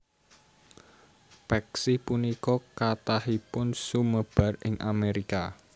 Peksi punika kathahipun sumebar ing Amerika